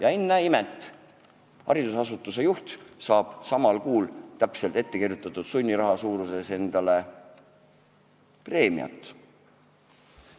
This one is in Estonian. Aga ennäe imet, haridusasutuse juht saab samal kuul täpselt ettekirjutatud sunniraha suuruses preemiat!